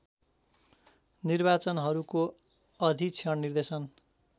निर्वाचनहरूको अधीक्षण निर्देशन